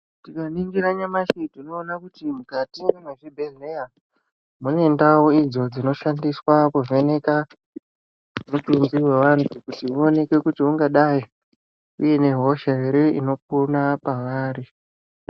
Tikaringira nyamashi tinona kuti mukati mezvibhedhleya mune ndau idzo dzinoshandiswa kuvheneka mutimbi vevantu. Kuti uoneke kuti ungadai uine hosha ere inopona pavari.